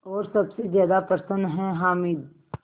और सबसे ज़्यादा प्रसन्न है हामिद